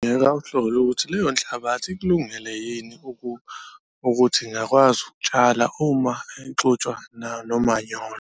Ngingawuhlola ukuthi leyo nhlabathi ikulungele yini ukuthi ingakwazi ukutshala uma ixutshwa nomanyolo.